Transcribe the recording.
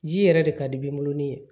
Ji yɛrɛ de ka di b'o ni ye